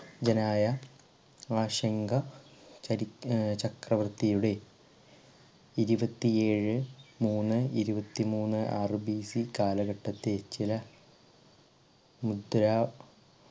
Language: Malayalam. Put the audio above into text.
ജനായ ചരി ഏർ ചക്രവർത്തിയുടെ ഇരുപത്തിഏഴ് മൂന്ന് ഇരുപത്തി മൂന്ന് ആറ് BC കാലഘട്ടത്തെ ചില മുദ്രാ